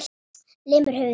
Lemur höfðinu í gólfið.